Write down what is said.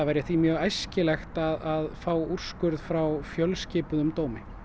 væri mjög æskilegt að fá úrskurð frá fjölskipuðum dómi